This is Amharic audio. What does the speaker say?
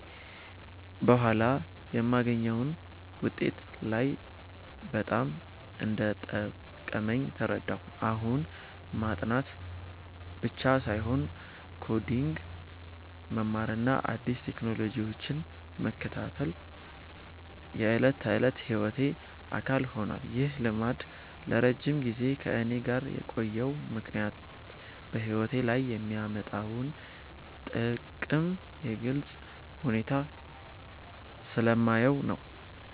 በኋላ የማገኘውን ውጤት ሳይ በጣም እንደጠቀመኝ ተረዳሁ። አሁን ማጥናት ብቻ ሳይሆን ኮዲንግ መማርና አዲስ ቴክኖሎጂዎችን መከታተል የዕለት ተዕለት ሕይወቴ አካል ሆኗል። ይህ ልማድ ለረጅም ጊዜ ከእኔ ጋር የቆየው ምክንያት በሕይወቴ ላይ የሚያመጣውን ጥቅም በግልጽ ሁኔታ ስለማየው ነው።